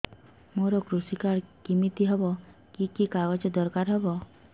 ମୋର କୃଷି କାର୍ଡ କିମିତି ହବ କି କି କାଗଜ ଦରକାର ହବ